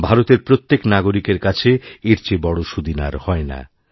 ভারতের প্রত্যেক নাগরিকের কাছে এর চেয়ে বড় সুদিন আর হয় না